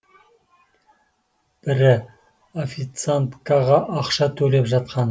бірі официанткаға ақша төлеп жатқан